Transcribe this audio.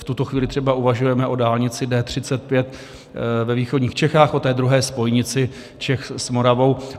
V tuto chvíli třeba uvažujeme o dálnici D35 ve východních Čechách, o druhé spojnici Čech s Moravou